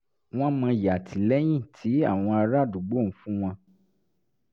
wọ́n mọyì àtìlẹ́yìn tí àwọn ará àdúgbò ń fún wọn